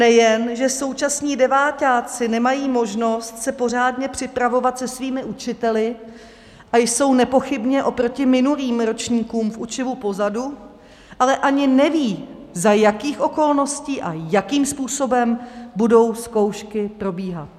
Nejen že současní deváťáci nemají možnost se pořádně připravovat se svými učiteli a jsou nepochybně oproti minulým ročníkům v učivu pozadu, ale ani neví, za jakých okolností a jakým způsobem budou zkoušky probíhat.